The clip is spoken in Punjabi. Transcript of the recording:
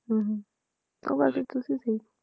ਹਮ ਉਹ ਗੱਲ ਤੇ ਤੁਸੀਂ ਸਹੀ